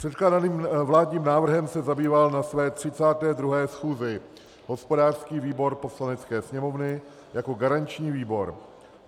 Předkládaným vládním návrhem se zabýval na své 32. schůzi hospodářský výbor Poslanecké sněmovny jako garanční výbor.